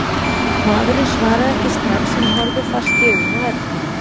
Maðurinn svaraði ekki strax en horfði fast í augun á Erni.